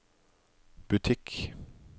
butikk